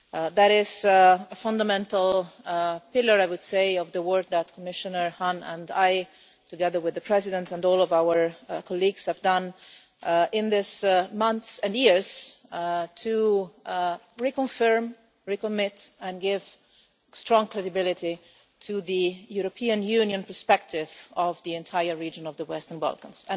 This is a fundamental pillar, I would say, of the work that Commissioner Hahn and I together with the President and all of our colleagues have done in these months and years to reconfirm, recommit and give strong credibility to the European Union perspective of the entire region of the Western Balkans.